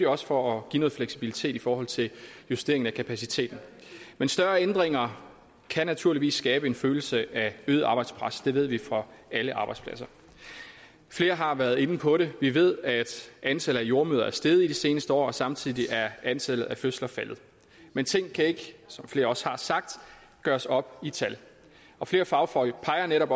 også for at give noget fleksibilitet i forhold til at justere kapaciteten men større ændringer kan naturligvis skabe en følelse af øget arbejdspres det ved vi fra alle arbejdspladser flere har været inde på det vi ved at antallet af jordemødre er steget i de seneste år og samtidig er antallet af fødsler faldet men ting kan ikke som flere også har sagt gøres op i tal og flere fagfolk peger netop